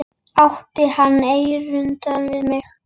Átti hann erindi við mig?